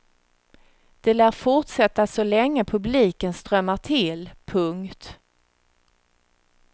De lär fortsätta så länge publiken strömmar till. punkt